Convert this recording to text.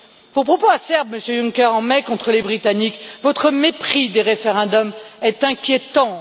Vos propos acerbes, Monsieur Juncker, en mai contre les Britanniques, votre mépris des référendums sont inquiétants.